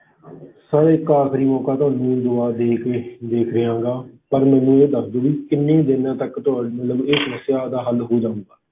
Sir ਇੱਕ ਆਖ਼ਰੀ ਮੌਕਾ ਤੁਹਾਨੂੰ ਇਸ ਵਾਰ ਦੇ ਕੇ ਦੇਖ ਲਵਾਂਗਾ, ਪਰ ਮੈਨੂੰ ਇਹ ਦੱਸ ਦਓ ਵੀ ਕਿੰਨੇ ਦਿਨਾਂ ਤੱਕ ਤੁਹਾਡੇ ਮਤਲਬ ਇਹ ਸਮੱਸਿਆ ਦਾ ਹੱਲ ਹੋ ਜਾਵੇਗਾ?